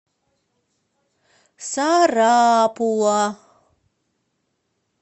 сарапула